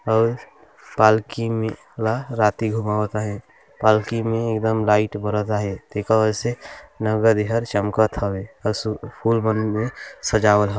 और पालकी में ओला राति घुमावत हवे पालकी में एकदम लाइट बरत आहे एकर वजह से चमकत हवे असु फुलवन में सजावल ह।